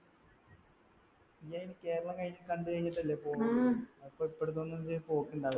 കേരളം കണ്ടുകഴിഞ്ഞിട്ടല്ലേ പോകൂ അപ്പൊ ഇപ്പട്ത്തൊന്നും ഇജ്ജ് പോക്കുണ്ടാവില്ല